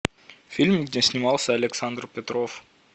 фильм где снимался александр петров